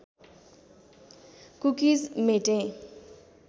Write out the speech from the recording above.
cookies मेटेँ